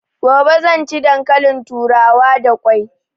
Gobe zan ci dankalin turawa da kwai